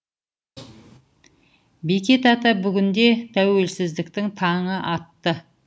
бекет ата бүгінде тәуелсіздіктің таңы атты